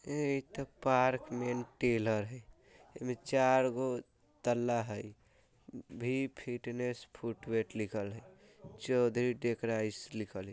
ए इते park main tailor हय एमे चार गो तल्ला हय भी फिटनेस फुट टू वेट लिखल हय चौधरी टेकराईस लिखल हय।